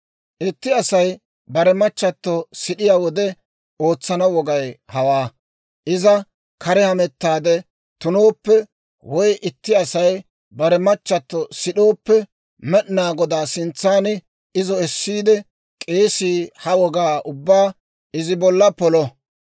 « ‹Itti Asay bare machchato sid'iyaa wode ootsana wogay hawaa. Iza kare hamettaade tunooppe, woy itti Asay bare machchato sid'ooppe, Med'inaa Godaa sintsan izo essiide k'eesii ha wogaa ubbaa izi bolla polo.